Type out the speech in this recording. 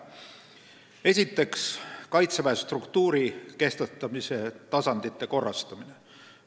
Esiteks, Kaitseväe struktuuri kehtestamise tasandite korrastamine.